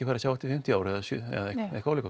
fara að sjá eftir fimmtíu ár eða eitthvað álíka